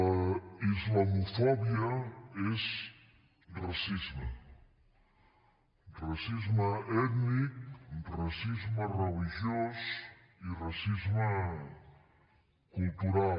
la islamofòbia és racisme racisme ètnic racisme religiós i racisme cultural